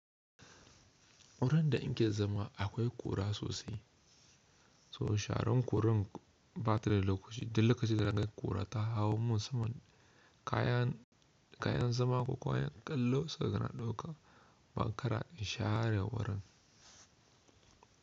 Wurin da in ke zama akwai ƙura sosai, so sharon kuran ba ta da lokaci. Dil lokacin da naga ƙura ta hau mun saman kayan, kayan zama ko kayan ƙallo sau kuga na ɗauka, ban kara in share wurin.